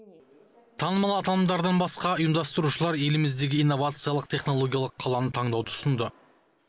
танымал аталымдардардан басқа ұйымдастырушылар еліміздегі инновациялық технологиялық қаланы таңдауды ұсынды